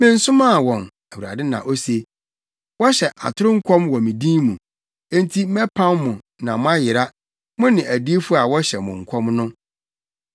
‘Mensomaa wɔn’ Awurade na ose. ‘Wɔhyɛ atoro nkɔm wɔ me din mu. Enti mɛpam mo na moayera, mo ne adiyifo a wɔhyɛ mo nkɔm no.’ ”